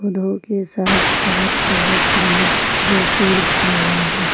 धूप के साथ साथ बहुत सुन्दर सुंदर फूल खिले है।